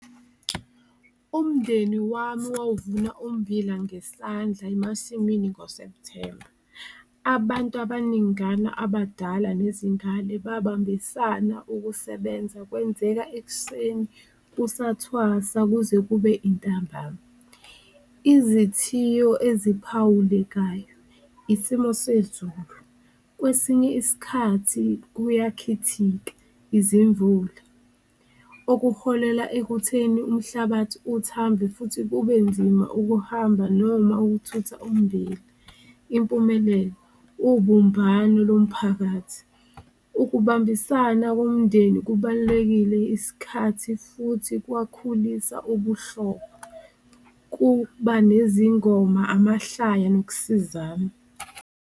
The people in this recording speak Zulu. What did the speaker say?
Umndeni wami wawuvuna ummbila ngesandla emasimini ngoSepthemba, abantu abaningana abadala nezingane babambisana ukusebenza, kwenzeka ekuseni kusathwasa kuze kube intambama. Izithiyo eziphawulekayo isimo sezulu, kwesinye iskhathi kuyakhithika izimvula, okuholela ekutheni umhlabathi uthambe futhi kube nzima ukuhamba noma okuthutha ummbila. Impumelelo ubumbano lomphakathi, ukubambisana komndeni kubalulekile isikhathi futhi kwakhulisa ubuhlobo, kuba nezingoma, amahlaya nokusizana.